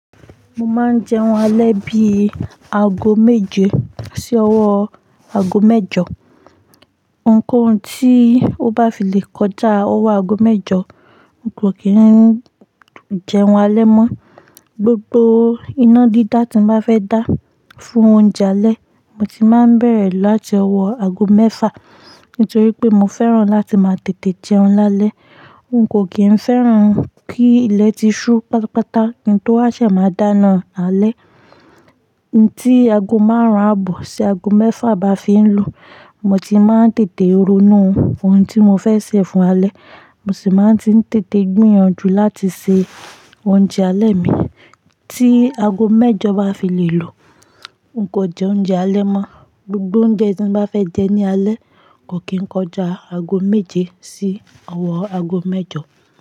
Mo máa ń jẹun alẹ́ bí i ago méje sí ọwọ́ ago mẹ́jọ. Ǹkan tí ó bá fi lè kọjá ọwọ́ ago mẹ́jọ, n kò kí ń jẹun alẹ́ mọ́. Gbogbo iná dídá tí mo bá fẹ́ dá fún oúnjẹ alẹ́, mo ti máa ń bẹ̀rẹ̀ láti ọwọ́ ago mẹ́fà. Nítorí pé mo fẹ́ràn láti máa tètè jẹun lálẹ́. N kò kí ń fẹ́ràn kí ilẹ̀ ti ṣú pátápátá kí n tó wá ṣẹ̀ máa dáná lálẹ́. Tí ago márùn-ún àbọ̀ sí ago mẹ́fà bá fi ń lu, mo ti máa ń tètè ronú fún oun tí mo fẹ́ sè fún alẹ́, mo sì máa ń ti tètè gbìyànjú láti se oúnjẹ alẹ́ mi. Tí ago mẹ́jọ bá fi lè lu, n kò jẹ oúnjẹ alẹ́ mọ́. Gbogbo oúnjẹ tí mo bá fẹ́ jẹ ní alẹ́ kò kí ń kọjá ago méje sí ọwọ́ ago mẹ́jọ.